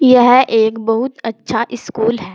यह एक बहुत अच्छा स्कूल है।